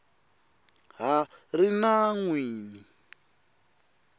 ha ri na n wini